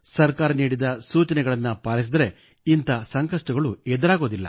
ಸರ್ಕಾರ ನೀಡಿದ ಸೂಚನೆಗಳನ್ನು ಪಾಲಿಸಿದರೆ ಇಂಥ ಸಂಕಷ್ಟಗಳು ಎದುರಾಗುವುದಿಲ್ಲ